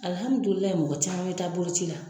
Alihamidulila mɔgɔ caman mi taa boloci la.